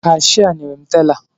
Kashịa nyere m tela